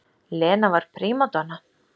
Lena var prímadonna.